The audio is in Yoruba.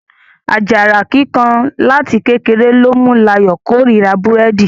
Ajara kíkan láti kékeré ló mú l'ayọ kò rírà Búrẹ́di.